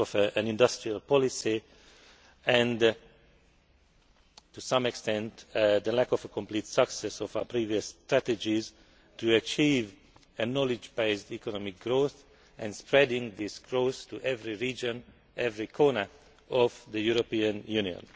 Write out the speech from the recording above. of an industrial policy and, to some extent, the lack of a complete success of our previous strategies to achieve a knowledge based economic growth and spread this growth to every region, every corner of the European Union.